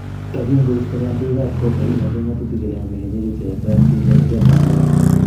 Tokin koisto kondoigap kot negingoten ngatutik kele momi kenyisiek che yetat keig laitoriat ap uganda.